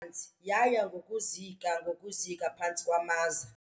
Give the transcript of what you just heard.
nzi yaya ngokuzika ngokuzika phantsi kwamaza.